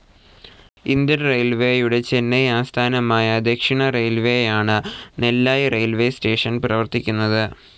Indian റെയിൽവേയുടെ ചെന്നൈ ആസ്ഥാനമായ ദക്ഷിണറെയിൽവേയാണ് നെല്ലായി റെയിൽവേസ്‌ സ്റ്റേഷൻ പ്രവർത്തിക്കുന്നത്.